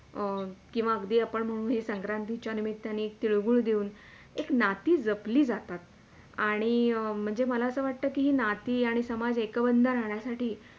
अं किंवा अगदी आपण म्हणू ही संक्रांतीच्या निमित्तानी तिळगूळ देऊन, एक नाती जपली जातात, आणि म्हणजे मला असे वाटते कि नाती आणि समाज एकबंध राहण्यासाठी.